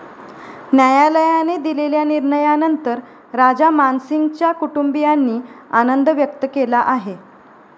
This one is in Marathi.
न्यायालयाने दिलेल्या निर्णयानंतर राजा मान सिंगच्या कुटुंबियांनी आनंद व्यक्त केला आहे.